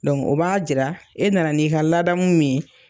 o b'a jira e nana n'i ka ladamu min ye.